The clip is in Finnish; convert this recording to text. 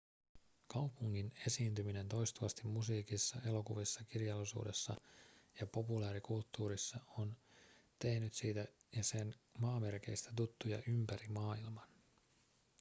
kaupungin esiintyminen toistuvasti musiikissa elokuvissa kirjallisuudessa ja populaarikulttuurissa on tehnyt siitä ja sen maamerkeistä tuttuja ympäri maailman